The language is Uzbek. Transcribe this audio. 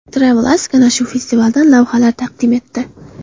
TravelAsk ana shu festivaldan lavhalar taqdim etdi .